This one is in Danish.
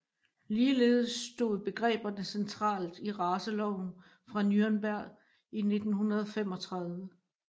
Ligeledes stod begreberne centralt i raceloven fra Nürnberg i 1935